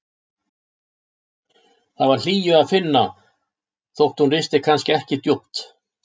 Þar var hlýju að finna þótt hún risti kannski ekki djúpt.